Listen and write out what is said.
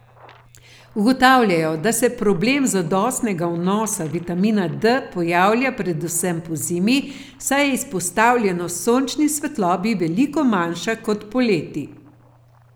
Ugotavljajo, da se problem zadostnega vnosa vitamina D pojavlja predvsem pozimi, saj je izpostavljenost sončni svetlobi veliko manjša kot poleti.